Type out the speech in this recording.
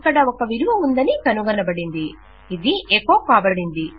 ఇక్కడ ఒక విలువ ఉందని కనుగొనబడింది ఇది ఎకొ కాబడింది